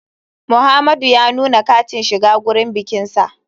Muhamadu ya nuna katin shiga gurin bikinsa.